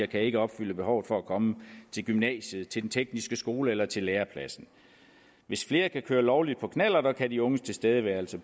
kan ikke opfylde behovet for at komme til gymnasiet til den tekniske skole eller til lærepladsen hvis flere kan køre lovligt på knallert kan de unges tilstedeværelse